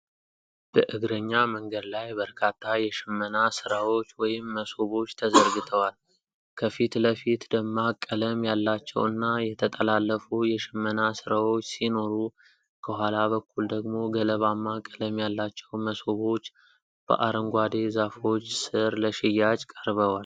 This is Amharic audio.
በእግረኛ መንገድ ላይ በርካታ የሽመና ሥራዎች (መሶቦች) ተዘርግተዋል። ከፊት ለፊት፣ ደማቅ ቀለም ያላቸው እና የተጠላለፉ የሽመና ሥራዎች ሲኖሩ፣ ከኋላ በኩል ደግሞ ገለባማ ቀለም ያላቸው መሶቦች በአረንጓዴ ዛፎች ስር ለሽያጭ ቀርበዋል።